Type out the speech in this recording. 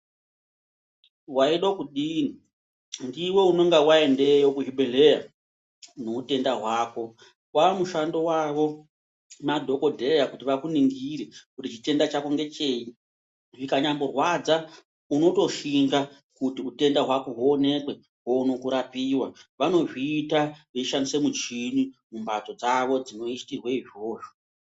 Waidoe kudini ndiwe unonga waendeyo kuchibhedhleya neutenda hwako . Wamushando wavo madhokodheya kuti vakuningire kuti chitenda chako ngecheyi. Zvikanyamborwadza unotoshinga kuti utenda hwako huonekwe uone kurapiwa. Vanozviita veishandise muchini mumphatso dzawo dzinoitirwe izvozvo.